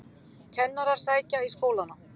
Kennarar sækja í skólana